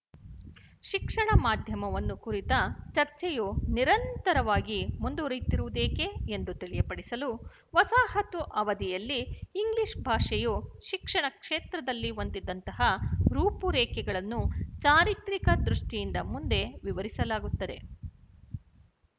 ಶಿಕ್ಷಣ ಮಾಧ್ಯಮವನ್ನು ಕುರಿತ ಚರ್ಚೆಯು ನಿರಂತರವಾಗಿ ಮುಂದುವರಿಯುತ್ತಿರುವುದೇಕೆ ಎಂದು ತಿಳಿಯಪಡಿಸಲು ವಸಾಹತು ಅವಧಿಯಲ್ಲಿ ಇಂಗ್ಲಿಶ ಭಾಷೆಯು ಶಿಕ್ಷಣ ಕ್ಷೇತ್ರದಲ್ಲಿ ಹೊಂದಿದ್ದಂತಹ ರೂಪುರೇಖೆಗಳನ್ನು ಚಾರಿತ್ರಿಕ ದೃಷ್ಟಿಯಿಂದ ಮುಂದೆ ವಿವರಿಸಲಾಗುತ್ತದೆ